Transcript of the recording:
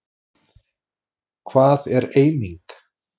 Hvað er eiming?